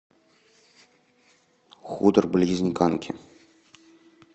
хутор близ диканьки